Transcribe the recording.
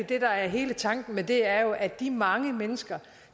det der er hele tanken med det jo er at de mange mennesker